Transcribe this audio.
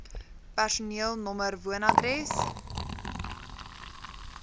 personeel nr woonadres